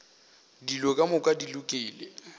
dilo ka moka di lokile